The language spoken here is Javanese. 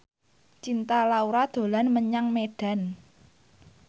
Cinta Laura dolan menyang Medan